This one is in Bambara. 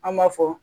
An b'a fɔ